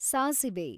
ಸಾಸಿವೆ